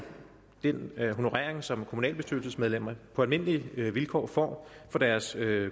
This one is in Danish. den honorering som kommunalbestyrelsesmedlemmer på almindelige vilkår får for deres